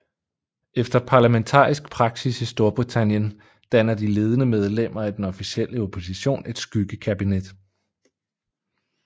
Efter parlamentarisk praksis i Storbritannien danner de ledende medlemmer af den officielle opposition et skyggekabinet